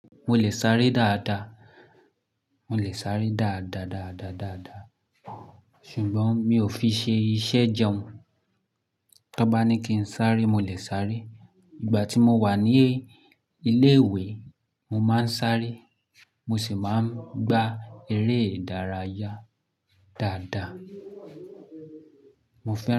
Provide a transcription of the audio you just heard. Mo lè sáré dáadáa. Mo lè sáré dáadáa, dáadáa, dáadáa. Ṣùgbọ́n mi ò fi ṣe iṣẹ́ jẹun. Ta n bá ní kí n sáré, mo lè sáré. Ìgbà tí mo wà ní ilé-ìwé, mo máa ń sáré. Mo sì máa ń gba eré-ìdárayá dáadáa. Mo fẹ́